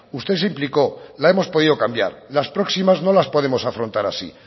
usted se implicó la hemos podido cambiar las próximas no las podemos afrontar así